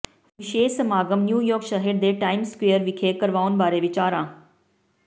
ਵਿਸ਼ੇਸ਼ ਸਮਾਗਮ ਨਿਊਯਾਰਕ ਸ਼ਹਿਰ ਦੇ ਟਾਈਮਜ਼ ਸਕੁਏਅਰ ਵਿਖੇ ਕਰਵਾਉਣ ਬਾਰੇ ਵਿਚਾਰਾਂ